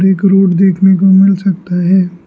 एक रोड देखने को मिल सकता है।